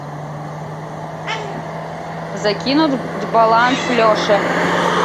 закинуть баланс леше